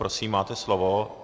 Prosím, máte slovo.